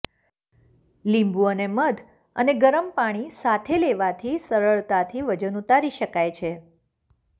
લીંબુ અને મધ અને ગરમ પાણી સાથે લેવાથી સરળતાથી વજન ઉતારી શકાય છે